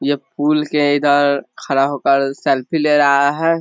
ये पुल के इधर खड़ा होकर सेल्फी ले रहा है।